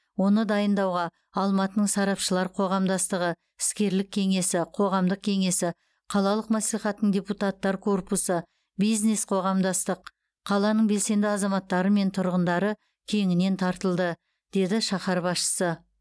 оны дайындауға алматының сарапшылар қоғамдастығы іскерлік кеңесі қоғамдық кеңесі қалалық мәслихаттың депутаттар корпусы бизнес қоғамдастық қаланың белсенді азаматтары мен тұрғындары кеңінен тартылды деді шаһар басшысы